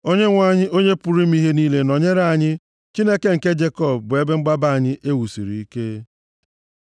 Onyenwe anyị, Onye pụrụ ime ihe niile nọnyere anyị; Chineke nke Jekọb bụ ebe mgbaba anyị e wusiri ike. Sela